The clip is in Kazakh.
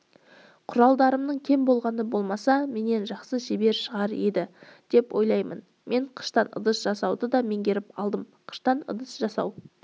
құралдарымның кем болғаны болмаса менен жақсы ағаш шебері шығар еді деп ойлаймын мен қыштан ыдыс жасауды да меңгеріп алдым қыштан ыдыс жасау